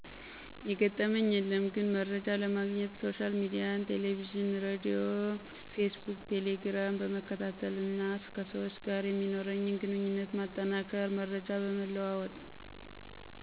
የገጠመኝ የለም ግን መርጃ ለማግኘት ሶሻል ሚዲያን ቴለቪዥን ሬድዮ ፌስቡክ ቴሌግራም ..... በመከታተል እና ከሰዎች ጋር የሚኖርኝን ግንኙነት ማጠናከር መረጃ በመለዋወጥ።